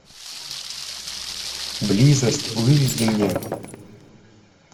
близость выведи мне